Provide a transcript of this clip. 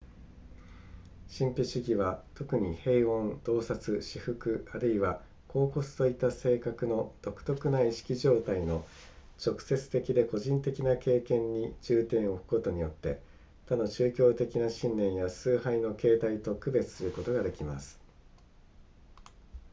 神秘主義は特に平穏洞察至福あるいは恍惚といった性格の独特な意識状態の直接的で個人的な経験に重点を置くことによって他の宗教的な信念や崇拝の形態と区別することができます